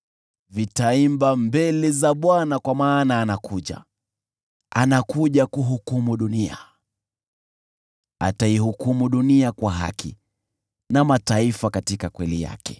itaimba mbele za Bwana kwa maana anakuja, anakuja kuihukumu dunia. Ataihukumu dunia kwa haki, na mataifa katika kweli yake.